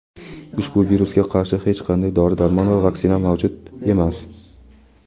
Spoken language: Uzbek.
ushbu virusga qarshi hech qanday dori-darmon va vaksina mavjud emas.